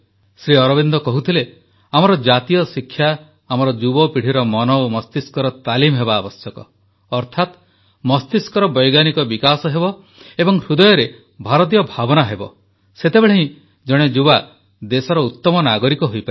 ଶ୍ରୀଅରବିନ୍ଦ କହୁଥିଲେ ଆମର ଜାତୀୟ ଶିକ୍ଷା ଆମର ଯୁବପିଢ଼ିର ମନ ଓ ମସ୍ତିଷ୍କର ତାଲିମ ହେବା ଆବଶ୍ୟକ ଅର୍ଥାତ ମସ୍ତିଷ୍କର ବୈଜ୍ଞାନିକ ବିକାଶ ହେବ ଏବଂ ହୃଦୟରେ ଭାରତୀୟ ଭାବନା ହେବ ସେତେବେଳେ ହିଁ ଜଣେ ଯୁବା ଦେଶର ଉତମ ନାଗରିକ ହୋଇପାରିବ